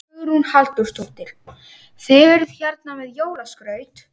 Hugrún Halldórsdóttir: Þið eruð hérna með jólaskraut?